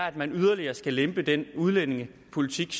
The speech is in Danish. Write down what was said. at man yderligere skal lempe den udlændingepolitik